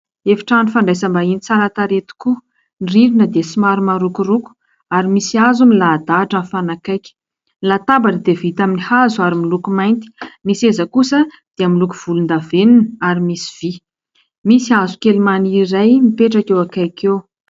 Efitrano fandraisam-bahiny tsara tarehy tokoa. Ny rindrina dia somary marokoroko ary misy hazo milahadahatra mifanakaiky. Latabatra dia vita amin'ny hazo ary miloko mainty ny seza kosa dia miloko volondavenona ary misy vy. Misy hazo maniry iray mipetraka eo akaiky eo.